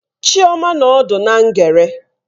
Chioma nọ ọdụ na ngere.